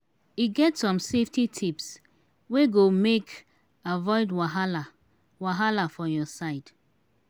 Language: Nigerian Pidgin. e get some safety tips wey go make avoid wahala wahala for your side.